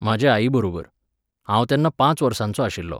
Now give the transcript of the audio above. म्हाजे आईबरोबर. हांव तेन्ना पांच वर्सांचो आशिल्लों.